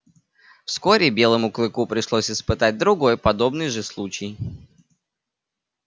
вскоре белому клыку пришлось испытать другой подобный же случай